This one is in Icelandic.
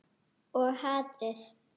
Og hatrið.